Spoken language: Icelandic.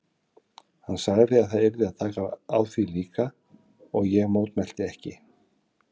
Hann sagði að það yrði að taka á því líka og ég mótmælti ekki.